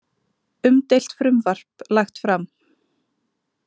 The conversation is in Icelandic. Umdeilt frumvarp lagt fram